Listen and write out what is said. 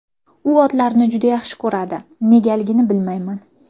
U otlarni juda yaxshi ko‘radi, negaligini bilmayman”.